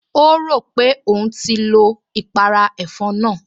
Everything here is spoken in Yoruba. O rò pé òun ti lo ìpàrà ẹ̀fọn náà